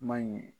Man ɲi